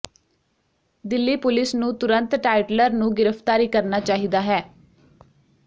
Delhi police ਨੂੰ ਤੁਰੰਤ ਟਾਈਟਲਰ ਨੂੰ ਗ੍ਰਿਫ਼ਤਾਰੀ ਕਰਨਾ ਚਾਹੀਦਾ ਹੈ